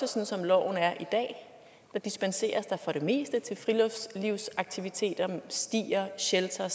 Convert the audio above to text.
og som loven er i dag dispenseres der for det meste til friluftslivsaktiviteter stier sheltere